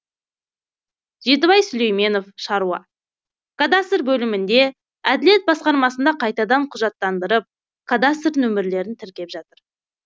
жетібай сүлейменов шаруа кадастр бөлімінде әділет басқармасында қайтадан құжаттандырып кадастр нөмірлерін тіркеп жатыр